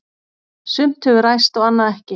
Sumt hefur ræst og annað ekki.